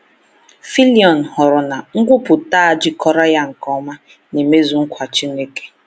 Fillion hụrụ na nkwupụta a jikọrọ ya nke ọma na imezu nkwa Chineke.